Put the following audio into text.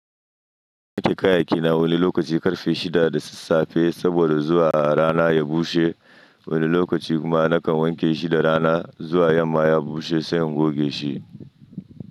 Ni ke kayaki na wani lokaci karfe 6:30 saboda zuwa a rana ya bushe. Wani lokaci kuma na kan wanke shi da rana zuwa ya maye bushe sannan goge shi.